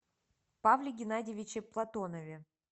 павле геннадьевиче платонове